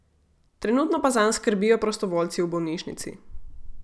Trenutno pa zanj skrbijo prostovoljci v bolnišnici.